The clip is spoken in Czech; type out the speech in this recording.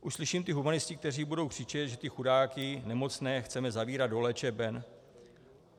Už slyším ty humanisty, kteří budou křičet, že ty chudáky nemocné chceme zavírat do léčeben.